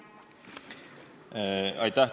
Aitäh!